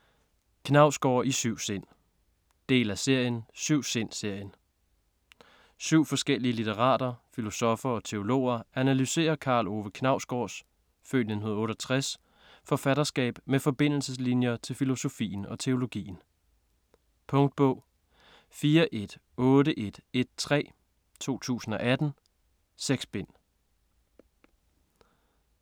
Knausgård i syv sind Del af serien Syv-sind-serien. Syv forskellige litterater, filosoffer og teologer analyserer Karl Ove Knausgårds (f. 1968) forfatterskab med forbindelseslinjer til filosofien og teologien. Punktbog 418113 2018. 6 bind.